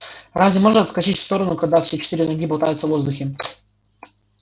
разве можно отскочить в сторону когда все четыре ноги болтаются в воздухе